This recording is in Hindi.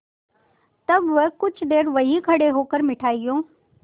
तब वह कुछ देर वहीं खड़े होकर मिठाइयों